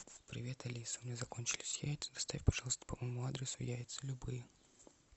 привет алиса у меня закончились яйца доставь пожалуйста по моему адресу яйца любые